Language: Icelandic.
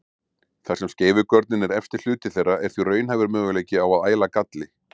Þar sem skeifugörnin er efsti hluti þeirra er því raunhæfur möguleiki á að æla galli.